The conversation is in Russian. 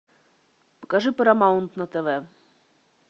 покажи парамаунт на тв